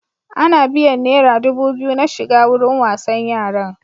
Ana biyan naira dubu biyu na shiga wurin wasan yaran.